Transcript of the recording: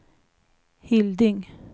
Hilding